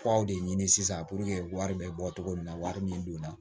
Kuraw de ɲini sisan puruke wari bɛ bɔ cogo min na wari min donna